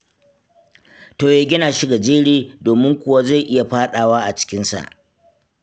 To ya gina shi gajere, domin kuwa zai iya faɗawa a cikinsa.